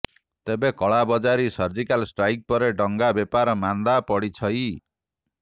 ତେବେ କଳାବଜାରୀ surgical strike ପରେ ଡଙ୍ଗା ବେପାର ମାନ୍ଦା ପଡ଼ିଛଇ